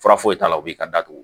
Fura foyi t'a la u b'i ka datugu